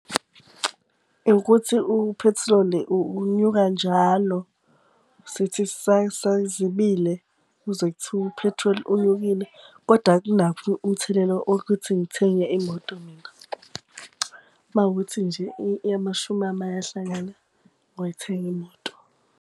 Ukuthi uphethiloli unyuka njalo. Sithi sisayizibile, uzwe kuthiwa uphethroli unyukile. Koda akunakho umthelela wokuthi ngithenge imoto mina. Uma kuwukuthi nje amashumi ami ayahlangana, ngoyithenga imoto.